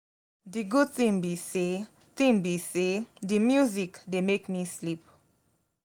the good thing be say thing be say the music dey make me sleep